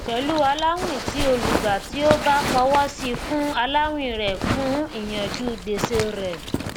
pẹlú aláwìn tí olùgbà tí ó bá fọwọsi fún aláwìn rẹ fún ìyànjú gbèsè rẹ